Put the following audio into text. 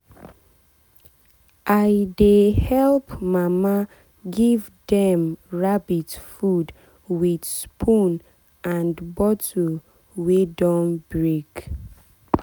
i dey help mama give dem rabbit food with spoon and bottle wey don break.